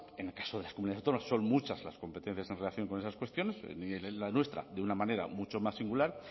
en el caso de las comunidades autónomas son muchas las competencias en relación con esas cuestiones y en la nuestra de una manera mucho más singular